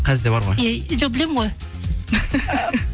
қазір де бар ғой жоқ білемін ғой